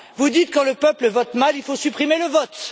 Vous dites Quand le peuple vote mal, il faut supprimer le vote.